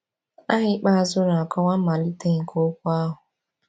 Aha ikpeazụ na-akọwa mmalite nke okwu ahụ.